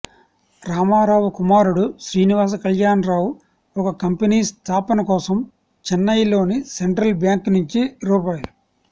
రామారావు కుమారుడు శ్రీనివాసకళ్యాణరావు ఒక కంపెనీ స్థాపన కోసం చెన్నైలోని సెంట్రల్ బ్యాంకు నుంచి రూ